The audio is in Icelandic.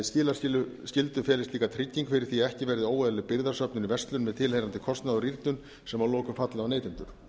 skilaskyldu felist líka trygging fyrri því að ekki verði óeðlileg birgðasöfnun í verslun með tilheyrandi kostnaði og rýrnun sem að lokum falli á neytendur